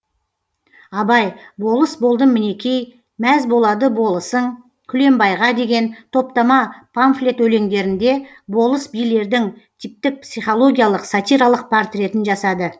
абай болыс болдым мінекей мәз болады болысың күлембайға деген топтама памфлет өлеңдерінде болыс билердің типтік психологиялық сатиралық портретін жасады